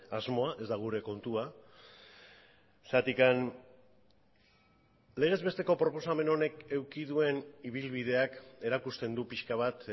asmoa ez da gure kontua zergatik legezbesteko proposamen honek eduki duen ibilbideak erakusten du pixka bat